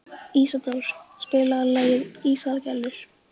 Ísadóra, spilaðu lagið „Ísaðar Gellur“.